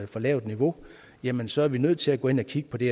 for lavt niveau jamen så er vi nødt til at gå ind og kigge på det